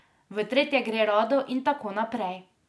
V tretje gre rado in tako naprej.